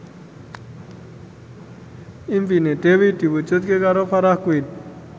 impine Dewi diwujudke karo Farah Quinn